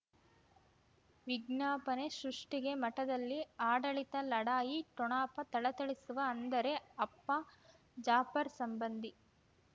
ವಿಜ್ಞಾಪನೆ ಸೃಷ್ಟಿಗೆ ಮಠದಲ್ಲಿ ಆಡಳಿತ ಲಢಾಯಿ ಠೊಣಪ ಥಳಥಳಿಸುವ ಅಂದರೆ ಅಪ್ಪ ಜಾಫರ್ ಸಂಬಂಧಿ